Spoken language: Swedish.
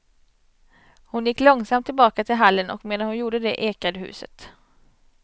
Hon gick långsamt tillbaka till hallen, och medan hon gjorde det ekade huset.